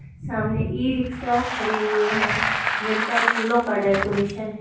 सामने e rickshaw खड़े हुए हैं जिन पर फूलो का डेकोरेशन है।